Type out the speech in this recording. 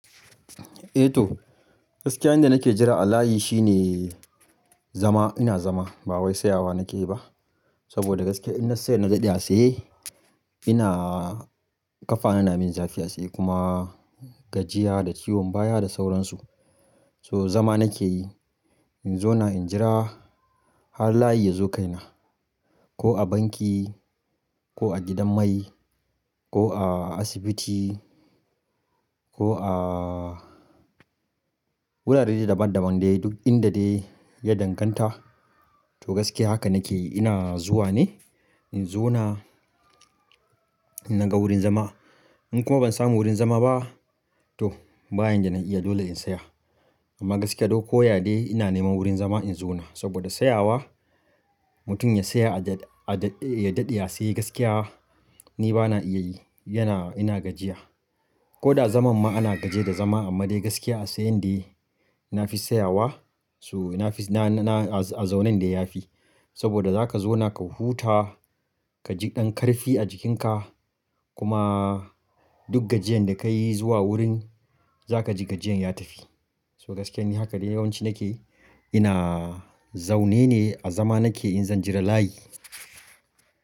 Eh toh, gaskiya inda nake jira alayi shine zama. Ina zama ba wai tsayawa nakeyi ba. Saboda gaskiya in na saya na daɗe a tsaye ina kafa na na min zafi a sai kuma gajiya da ciwon baya da sauransu. To zama nake yi in zauna in jira har layi ya zo kaina. Ko a banki, ko a gidan mai, ko a asibiti ko a wurare daban daban dai duk inda dai ya danganta. Toh gaskiya haka nakeyi ina zuwa ne in zauna na ga wurin zama. In kuma ban samu wurin zama ba toh bayan da na iya dole in saya. Amma gaskiya duk ko yadai ina neman wurin zama in zauna saboda siyawa mutum ya saya a daɗe ya siye gaskiya ni bana iya yi. Yana ina gajiya. Ko da zaman ma ana gaje da zama amma dai gaskiya a sayan dai na fi siyawa so na fiz na na a zaunen dai yafi. Saboda za ka zauna ka huta, ka ji ɗan ƙarfi a jikinka kuma duk gajiyan da ka yi zuwa wurin za ka ji gajiyan ya tafi. So gaskiya ni haka dai yawanci nake ina zaune ne a zama nake in zan jira layi.